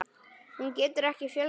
Hún getur ekki fjölgað sér.